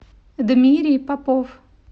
дмирий попов